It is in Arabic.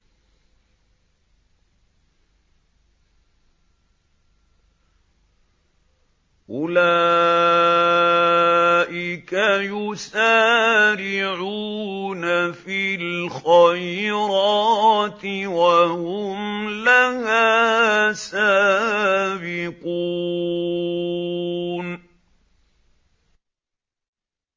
أُولَٰئِكَ يُسَارِعُونَ فِي الْخَيْرَاتِ وَهُمْ لَهَا سَابِقُونَ